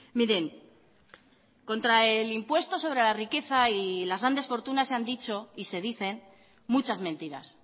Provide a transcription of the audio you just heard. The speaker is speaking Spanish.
miren contra el impuesto sobre la riqueza y las grandes fortunas se han dicho y se dicen muchas mentiras